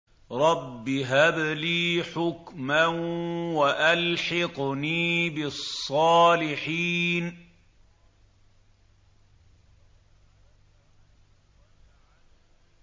رَبِّ هَبْ لِي حُكْمًا وَأَلْحِقْنِي بِالصَّالِحِينَ